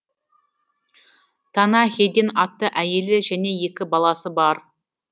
тана хейден атты әйелі және екі баласы бар